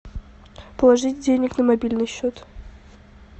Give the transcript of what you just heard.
положить денег на мобильный счет